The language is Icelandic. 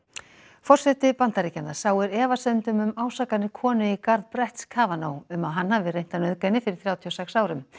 forseti Bandaríkjanna sáir efasemdum um ásakanir konu í garð brett um að hann hafi reynt að nauðga henni fyrir þrjátíu og sex árum